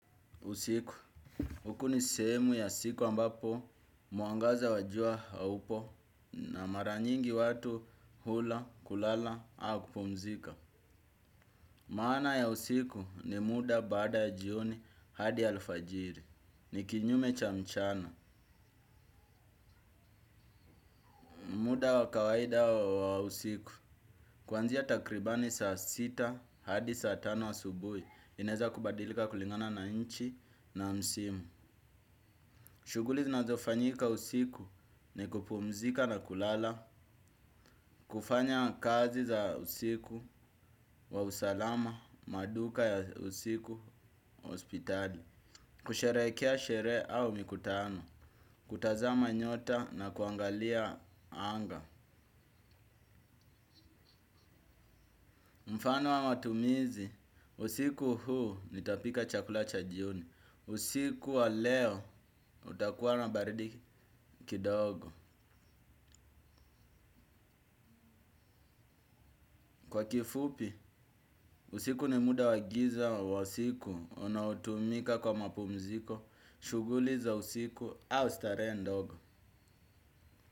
Usiku, hukuni sehemu ya siku ambapo mwangaza wajua haupo na maranyingi watu hula kulala au kupumzika. Maana ya usiku ni muda baada jioni hadi alfajiri, ni kinyume chamchana. Muda wakawaida wa usiku, kuanzia takribani saa sita hadi saa tano asubui, inaeza kubadilika kulingana na nchi na msimu. Shuguli zinazofanyika usiku ni kupumzika na kulala, kufanya kazi za usiku wa usalama maduka ya usiku hospitali, kusherekea sherehe au mikutano, kutazama nyota na kuangalia anga. Mfano wa matumizi, usiku huu nitapika chakula chajioni, usiku wa leo utakuwa nabaridi kidogo. Kwa kifupi, usiku ni muda wagiza wa usiku, unaotumika kwa mapumziko, shuguliza usiku au starehe ndogo.